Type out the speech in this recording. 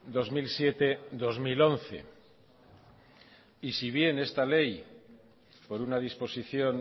dos mil siete dos mil once y si bien esta ley por una disposición